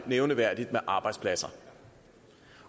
nævneværdigt med arbejdspladser